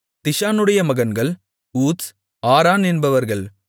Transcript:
திஷானுடைய மகன்கள் ஊத்ஸ் அரான் என்பவர்கள்